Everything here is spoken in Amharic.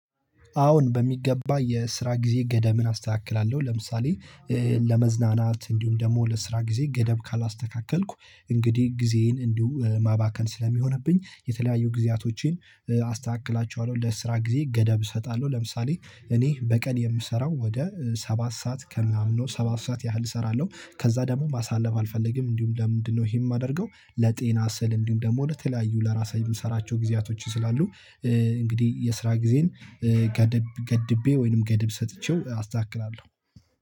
አዎን በሚገባ የስራ ጊዜ ገደብን አስተካክላለሁ። ለምሳሌ ለመዝናናት እንዲሁም ደግሞ ለስራ ጊዜ ገደብ ካላስተካከልኩ እንግዲህ ጊዜዬን እንዲሁ ማባከን ስለሚሆንብኝ። የተለያዩ ጊዜያቶቼን አስተካክላችኋለሁ ለስራ ጊዜ ገደብ እሰጣለሁ። ለምሳሌ እኔ በቀን የምሰራው ወደ ሰባት ሰዓት ከሚያምነው ሰባት ሰዓት ያህል እሰራለሁ። ከዛ ደግሞ ማሳለፍ አልፈለግም እንዲሁም ለምንድነው ይሄን የማደርገው? ለጤና ስል እንዲሁም ደግሞ ለተለያዩ ለራሴ የምሰራቸው ጊዜያቶች ስላሉ። እንግዲህ የስራ ጊዜን ገድቤ ወይንም ገደብ ሰጥቼው አስተካክላለሁ።